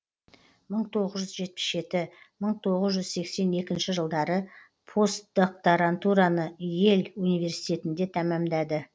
мың тоғыз жүз жетпіс жеті мың тоғыз жүз сексен екінші жылдары постдокторантураны йель университетінде тәмамдады